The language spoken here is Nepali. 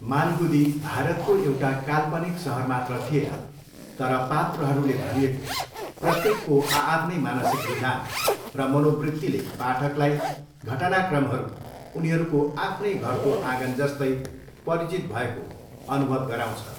मालगुदी भारतको एउटा काल्पनिक सहर मात्र थिएन, तर पात्रहरूले भरिएको, प्रत्येकको आआफ्नै मानसिक रूझान र मनोवृत्तिले पाठकलाई घटनाक्रमहरू उनीहरूको आफ्नै घरको आँगन जस्तै परिचित भएको अनुभव गराउँछ।